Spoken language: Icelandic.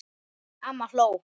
Amma hló.